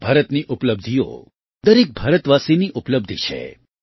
ભારતની ઉપલબ્ધિઓ દરેક ભારતવાસીની ઉપલબ્ધિ છે